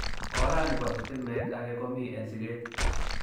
Oranibo sitimet age komi en siket.